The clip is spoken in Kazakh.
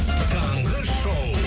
таңғы шоу